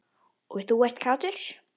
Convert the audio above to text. Og þú ert kátur.